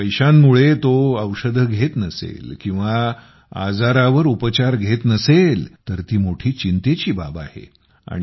आता पैशांमुळे तो औषधे घेत नसेल किंवा आजारावर उपचार घेत नसेल तर ती मोठी चिंतेची बाब आहे